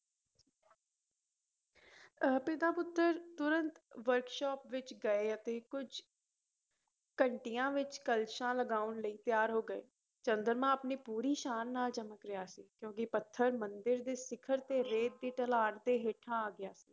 ਅਹ ਪਿਤਾ ਪੁੱਤਰ ਤੁਰੰਤ ਵਰਕਸ਼ਾਪ ਵਿੱਚ ਗਏ ਅਤੇ ਕੁੱਝ ਘੰਟਿਆਂ ਵਿੱਚ ਕਲਸ਼ਾਂ ਲਗਾਉਣ ਲਈ ਤਿਆਰ ਹੋ ਗਏ, ਚੰਦਰਮਾ ਆਪਣੀ ਪੂਰੀ ਸ਼ਾਨ ਨਾਲ ਚਮਕ ਰਿਹਾ ਸੀ ਕਿਉਂਕਿ ਪੱਥਰ ਮੰਦਿਰ ਦੇ ਸਿਖ਼ਰ ਤੇ ਰੇਤ ਦੀ ਢਲਾਣ ਤੇ ਹੇਠਾਂ ਆ ਗਿਆ